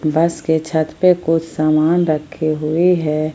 बस के छत पे कुछ सामान रखे हुए हैं।